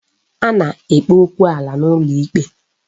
A na-ekpe okwu ala n'ụlọ ikpe